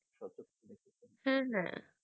হ্যাঁ হ্যাঁ